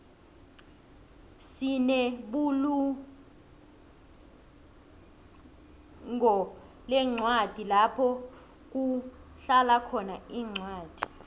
sinebulunqolencwadi lapho kuhlalakhona incwadi